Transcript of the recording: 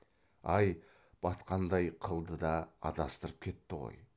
ай батқандай қылды да адастырып кетті ғой